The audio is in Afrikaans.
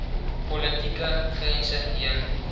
politieke grense heen